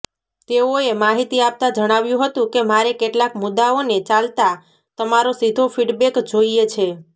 તેઓએ માહિતી આપતા જણાવ્યું હતું કે મારે કેટલાક મુદ્દાઓને ચાલતા તમારો સીધો ફીડબેક જોઇએ છે